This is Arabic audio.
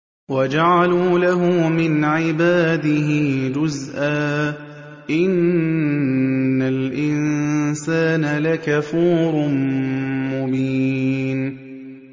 وَجَعَلُوا لَهُ مِنْ عِبَادِهِ جُزْءًا ۚ إِنَّ الْإِنسَانَ لَكَفُورٌ مُّبِينٌ